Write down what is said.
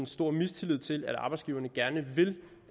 stor mistillid til at arbejdsgiverne gerne vil